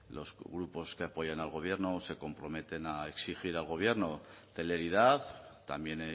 los grupos que apoyan al gobierno se comprometen a exigir al gobierno celeridad también